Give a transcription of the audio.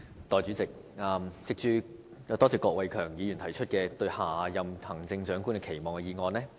代理主席，多謝郭偉强議員提出"對下任行政長官的期望"的議案。